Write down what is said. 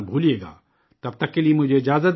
تب تک کے لیے مجھے وداع دیجئے